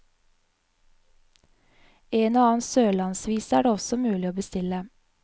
En og annen sørlandsvise er det også mulig å bestille.